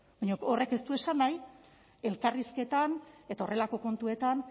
baina horrek ez du esan nahi elkarrizketan eta horrelako kontuetan